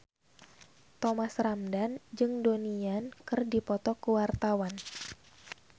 Thomas Ramdhan jeung Donnie Yan keur dipoto ku wartawan